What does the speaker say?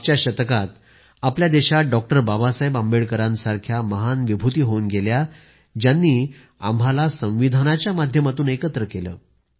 मागच्या शतकात आपल्या देशात डॉक्टर बाबासाहेब आंबेडकरांसारख्या महान विभूती होऊन गेल्या ज्यांनी आम्हाला संविधानाच्या माध्यमातून एकत्र केले